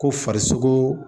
Ko farisogo